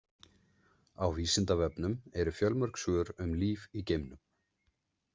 Á Vísindavefnum eru fjölmörg svör um líf í geimnum.